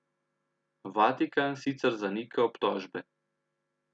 Vatikan sicer zanika obtožbe.